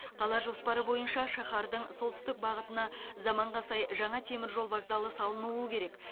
қала жоспары бойынша шаһардың солтүстік бағытына заманға сай жаңа теміржол вокзалы салынуы керек